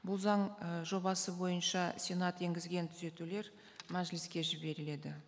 бұл заң і жобасы бойынша сенат енгізген түзетулер мәжіліске жіберіледі